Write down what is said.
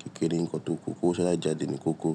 Kékeré ni nǹkan tó kù. Ko owó sá jáde ni kókó.